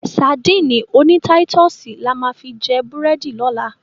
Sadíìnì oní táítọ̀sì la máa fi jẹ búrẹ́dì lọ́la.